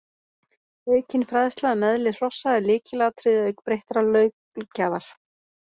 Aukin fræðsla um eðli hrossa er lykilatriði auk breyttrar löggjafar.